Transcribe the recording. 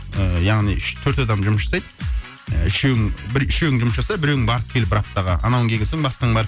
ы яғни үш төрт адам жұмыс жасайды ыыы үшеуің бір үшеуің жұмыс жаса біреуің барып кел бір аптаға анауың келген соң басқаң бар